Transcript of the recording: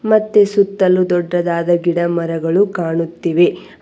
ಮತ್ತೆ ಸುತ್ತಲು ದೊಡ್ಡದಾದ ಗಿಡಮರಗಳು ಕಾಣುತ್ತಿವೆ.